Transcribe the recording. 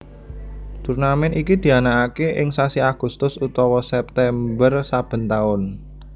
Turnamèn iki dianakaké ing sasi Agustus utawa September saben taun